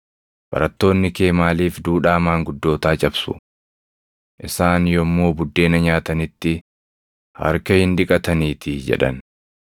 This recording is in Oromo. “Barattoonni kee maaliif duudhaa maanguddootaa cabsu? Isaan yommuu buddeena nyaatanitti harka hin dhiqataniitii!” jedhan.